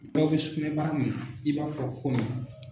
Dɔw bɛ sugunɛbara i b'a fɔ kɔngɔ.